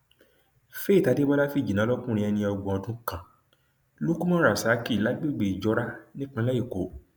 faith adébọlá fíjìnnà lọkùnrin ẹni ọgbọn ọdún kan lukuman rasaki lágbègbè ìjọra nípìnlẹ èkó